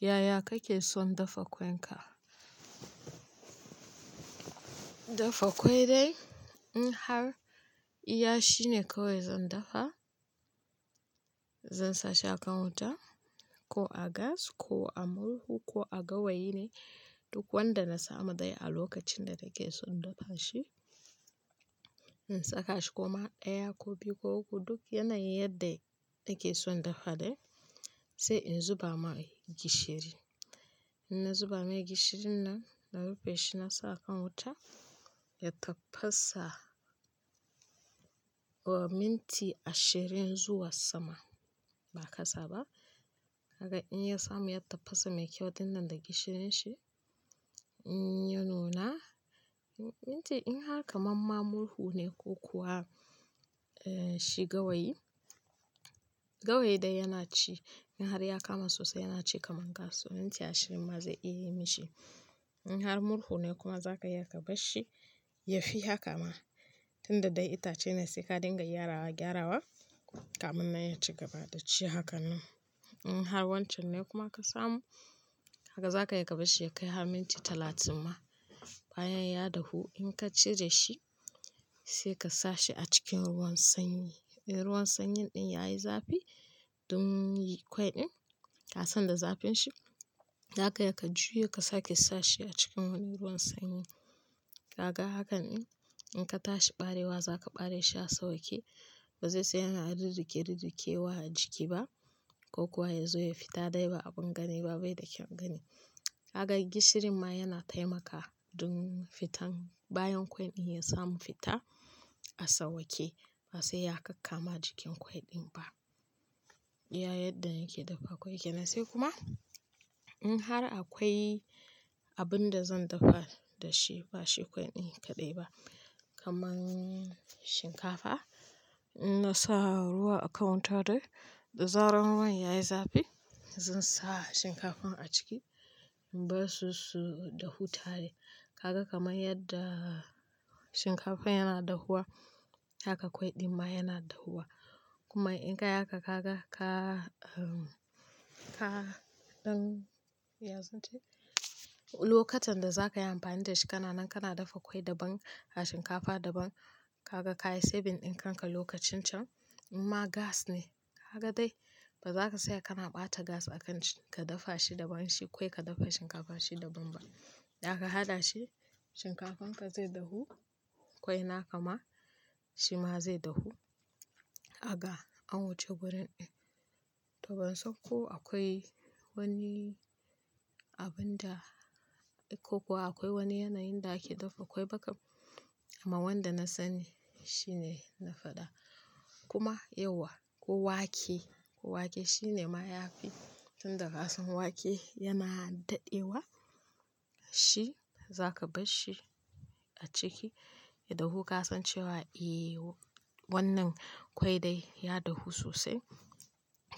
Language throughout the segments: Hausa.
Yaya kake son dafa ƙwai ka? Dafa ƙwai dai in har iya shine kawai zan dafa. Zan sa shi a kan wuta, ko a gas ko a murhu ko a gawayi ne duk wanda na samu dai a lokacin da take son dafa shi. In saka shi kuma ɗaya ko biyu ko uku duk yanayin yadda take son dafa dai, sai in zuba mai gishiri. In na zuba mai gishirin nan, na rufe shi na sa a kan wuta ya tafasa. O minti ashirin zuwa sama ba kasaba. Gaka in ya samu ya tafasa mai kyau tin nan da gishirin shi, in ya nuna, minti in har kamam ma murhu ne ko kuwa, eh shi gawayi, gawayi dai yana ci. In har ya kama sosai yana ci kaman gas. So minti ashirin ma zai iya yi mishi. In har murhu ne kuma zaka iya ka bar shi, ya fi haka ma. Tunda dai itace ne sai ka dinga gyarawa, gyarawa kaman nan ya ci gaba da ci hakan nan. In har wancan ne kuma ka samu, haka za ka iya ka bar shi ya kai har minti talatin ma. Bayan ya dahu in ka cire shi, sai ka sa shi a cikin ruwan sanyi. Eh ruwan sanyin ɗin yayi zafi don yi ƙwai ɗin. Ka sanda zafin shi, zaka iya ka juya ka sake sa shi a cikin wani ruwan sanyi. Haka, hakan in in ka tashi ɓarewa za ka ɓare shi a sauƙe. Ba zai saya yana rurruke rurrukewa a jiki ba ko kuwa ya zo ya fita dai ba abin gani ba bai da kyan gani. Haka gishirin ma yana taimakawa don fitan bayan ƙwai ɗin ya samu fita a sauƙe ba sai ya kakkama jikin ƙwai ɗin ba. Ya yadda yake dafa ƙwai kenan. Sai kuma in har akwai abin da zan dafa da shi ba shi ƙwai ɗin kaɗai ba kaman shinkafa, in na sa ruwa a kan wuta din da zarar ruwan yayi zafi zan sa shinkafan a ciki. In bar su, su dahu tare. Kaga kamar yadda shinkafa yana dahuwa haka ƙwai ɗin ma yana dahuwa. Kuma in ka haka ka ga ka, ka, don ya sunce lokutan da za ka yi amfani da shi kana nan kana dafa ƙwai daban a shinkafa daban. Haka ka yi saving ɗin kanka lokacin can. In ma gas ne haka dai ba za ka saya kana ɓata gas a kan ka dafa shi daban shi ƙwai ka dafa shinkafa shi daban ba. Za ka haɗa shi shinkafan ka zai dahu, ƙwai na kama shi ma zai dahu. Kaga an wuce wurin ɗin. To ban san ko akwai wani abin da ko kuwa akwai wani yanayin da ake dafa ƙwai ba kam. Amma wanda na sani shine na faɗa. Kuma yau wa ko wake, wake shine ma ya fi tun da ƙasan wake yana daɗewa shi za ka bar shi a ciki ya dahu ka san cewa eh wannan ƙwai dai ya dahu sosai.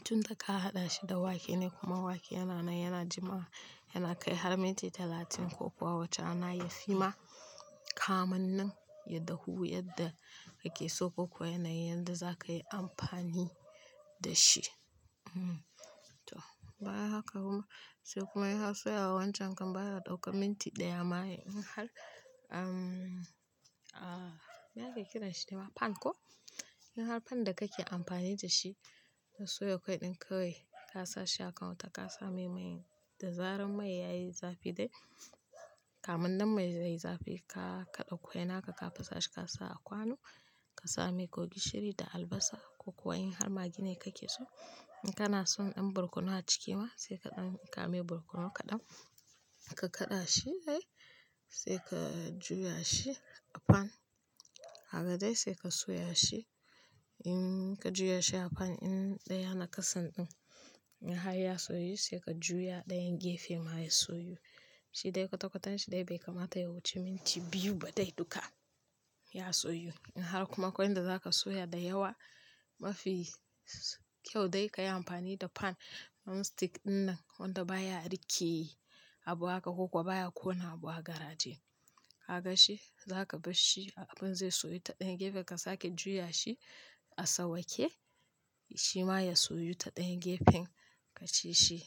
Tun da ka haɗa shi da wake ne kuma wake yana nan yana jimawa yana kai har minti talatin ko kuwa wata rana yafi ma kaman nan ya dahu yadda ake so ko kuwa yanayin da za ka yi amfani da shi. uHmm. To bayan haka kuma sai kuma ya so ya wanke kan baya daukar minti ɗaya ma yi in har, ahm, a, me ake kiran shi da ma pan ko? In har pan da kake amfani da shi ka soya ƙwai ɗin ka wai ka sa shi a kan wuta ka sa mai mai da zaren mai yayi zafi dai. Kaman nan mai yayi zafi ka kaɗa ƙwai na ka ka fasa shi ka sa a kwano. Ka sa mai ko gishiri da albasa ko kuwa in har magi ne kake so. In kana son in burkunu a ciki ma sai kaɗan ka ami bukunu kaɗan. Ka kaɗa shi dai sai ka juya shi a pan. Haka dai sai ka soya shi. In ka juya shi a pan in ɗaya na kasan ɗin. In har ya soyu sai ka juya ɗayan gefe ma ya soyu. Shi dai kwatakwatanshi dai bai kamata ya wuce minti biyu ba dai duka ya soyu. In har kuma ƙwai da za ka soya da yawa mafi kyau dai ka yi amfani da pan nonstick ɗin nan wanda baya rikke abu haka ko kuwa baya kona abu a garaje. Haka shi za ka bar shi abin zai soyu ta ɗayan gefe ka sake juya shi a sauƙe shi ma ya soyu ta ɗayan gefen ka ci shi.